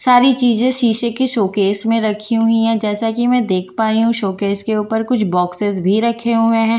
सारी चीजें शीशे के सॉकेस में रखी हुई है जैसा कि मैं देख पा रही हूं सॉकेस के ऊपर कुछ बॉक्‍सेस भी रखे हुए हैं ।